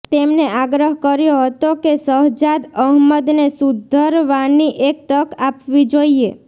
તેમને આગ્રહ કર્યો હતો કે શહજાદ અહમદને સુધરવાની એક તક આપવી જોઇએ